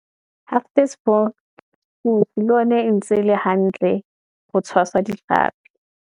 Hartbeespoort le yona e ntse e le hantle ho tshwasa ditlhapi.